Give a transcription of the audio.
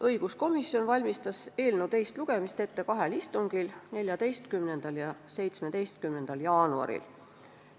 Õiguskomisjon valmistas eelnõu teist lugemist ette kahel istungil: 14. ja 17. jaanuaril.